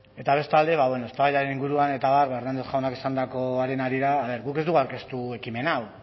eta bestalde eztabaidaren inguruan eta abar hernández jaunak esandakoaren harira guk ez dugu aurkeztu ekimen hau